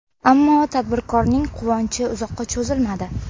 Ammo tadbirkorning quvonchi uzoqqa cho‘zilmadi.